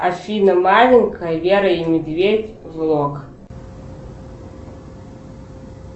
афина маленькая вера и медведь влог